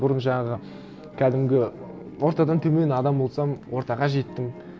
бұрын жаңағы кәдімгі ортадан төмен адам болсам ортаға жеттім